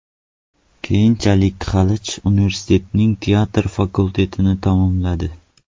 Keyinchalik Xalich universitetining teatr fakultetini tamomladi.